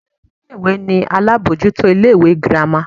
Olori ìlé-ìwé ni alabọjuto ìlé-ìwé gírama.